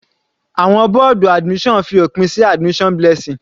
Àwọn bọ́ọ̀dù admission fi òpin sí admission Blessing.